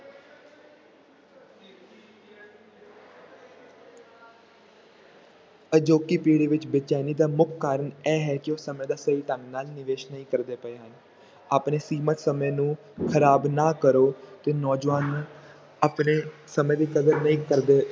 ਅਜੋਕੀ ਪੀੜ੍ਹੀ ਵਿੱਚ ਬੇਚੈਨੀ ਦਾ ਮੁੱਖ ਕਾਰਨ ਇਹ ਹੈ ਕਿ ਉਹ ਸਮੇਂ ਦਾ ਸਹੀ ਢੰਗ ਨਾਲ ਨਿਵੇਸ ਨਹੀਂ ਕਰਦੇ ਪਏ ਹਨ, ਆਪਣੇ ਸੀਮਿਤ ਸਮੇਂ ਨੂੰ ਖ਼ਰਾਬ ਨਾ ਕਰੋ ਤੇ ਨੌਜਵਾਨ ਨੂੰ ਆਪਣੇ ਸਮੇਂ ਦੀ ਕਦਰ ਨਹੀਂ ਕਰਦੇ।